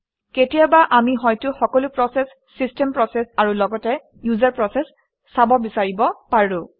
কেতিয়াবা আমি হয়তো সকলো প্ৰচেচ - চিষ্টেম প্ৰচেচ আৰু লগতে ইউজাৰ প্ৰচেচ চাব বিচাৰিব পাৰোঁ